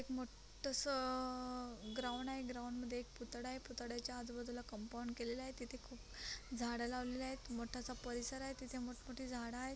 एक मोठस असं ग्राउंड आहे ग्राउंड मध्ये पुतळा आहे पुतळ्याच्या आजू बाजूला कम्पाउण्ड केलेल आहे तिथे खूप झाडे लवलेली आहेत मोठसा परिसर आहे तिथे मोठ-मोठी झाड आहेत.